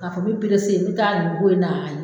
K'a fɔ n bi perese n be taa nin ko in na